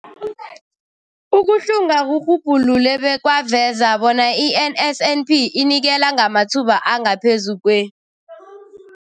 Ukuhlunga kurhubhulule bekwaveza bona i-NSNP inikela ngamathuba angaphezulu kwe-